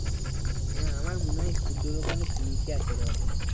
হ্যাঁ আমার মনে হয় সূর্য অনেক নিচে আছে রে ওদের